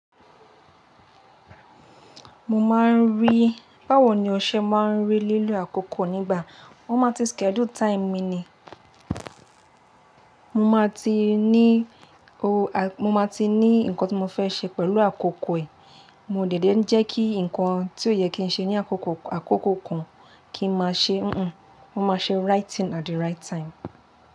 Mo máa ń rí, báwo ni o ṣe máa ń rí lílo àkókò nígbà, mo máa ti schedule time mi ni, mo máa ti ní oh a-- mo máa ti ní nǹkan tí mo fẹ́ ṣe pẹ̀lú àkókò ẹ̀. Mo dẹ dé n jẹ́ kí nǹkan tí ó yẹ kí n ṣe ní àkókò àkókò kan kí n má ṣe, mo máa ṣe right thing at the right time.